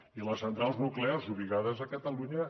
i les centrals nuclears ubicades a catalunya